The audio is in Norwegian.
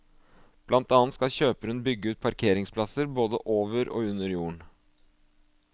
Blant annet skal kjøperen bygge ut parkeringsplasser både over og under jorden.